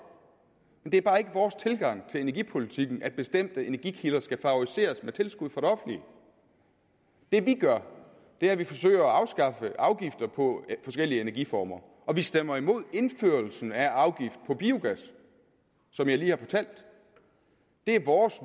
men det er bare ikke vores tilgang til energipolitikken at bestemte energikilder skal favoriseres med tilskud fra det offentlige det vi gør er at vi forsøger at afskaffe afgifter på forskellige energiformer og vi stemmer imod indførelsen af afgift på biogas som jeg lige har fortalt det er vores